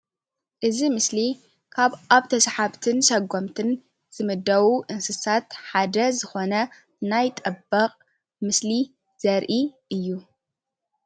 እዚ ኣብ ምስሊ ኣብ ተሳሓብትን ሶጎምትን ዝምደቡ እንስሳት ሓደ ዝኮነ ናይ ጠበቅ ምስሊ ዘርኢ እዩ፡፡